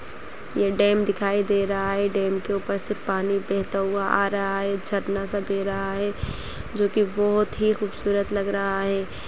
ये डैम दिखाई दे रहा है डैम के ऊपर से पानी बहता हुआ आ रहा है झरना सा बह रहा है जोकि बहोत ही खूबसूरत लग रहा है।